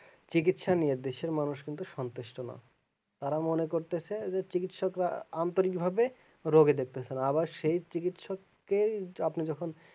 চিকিৎসা নিয়ে কিন্তু দেশের মানুষ সন্তুষ্ট নয় তারা মনে করতেছে যে চিকিৎসকরা আন্তরিকভাবে রোগী দেখতেছে আবার সেই চিকিৎসক কেই আপনি যখন